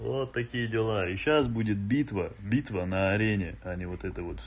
вот такие дела и сейчас будет битва битва на арене а не вот это вот